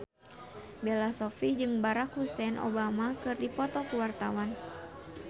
Bella Shofie jeung Barack Hussein Obama keur dipoto ku wartawan